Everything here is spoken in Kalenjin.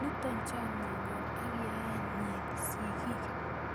Nito chamenyo ak yaenyi sigik,